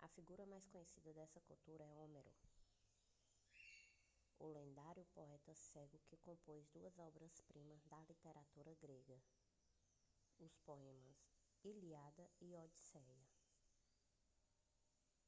a figura mais conhecida dessa cultura é homero o lendário poeta cego que compôs duas obras primas da literatura grega os poemas ilíada e a odisseia